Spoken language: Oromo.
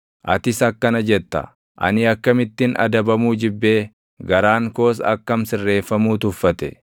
Atis akkana jetta; “Ani akkamittin adabamuu jibbee! Garaan koos akkam sirreeffamuu tuffate!